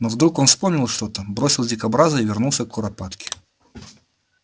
но вдруг он вспомнил что-то бросил дикобраза и вернулся к куропатке